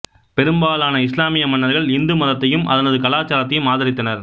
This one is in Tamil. பெரும்பாலான இஸ்லாமிய மன்னர்கள் இந்து மதத்தையும் அதனது கலாச்சாரத்தையும் ஆதரித்தனர்